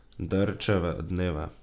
Derčeve dneve.